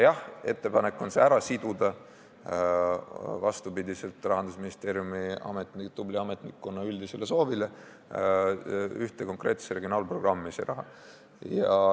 Jah, ettepanek on see raha, vastupidi Rahandusministeeriumi tubli ametnikkonna üldisele soovile, siduda ühte konkreetsesse regionaalprogrammi.